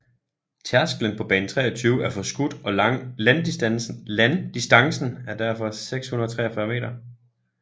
Tærsklen på bane 23 er forskudt og landdistancen er derfor 643 meter